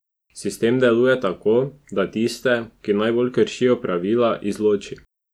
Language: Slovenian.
Sistem deluje tako, da tiste, ki najbolj kršijo pravila, izloči.